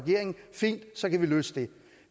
fint så kan vi løse det